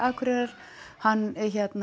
Akureyrar hann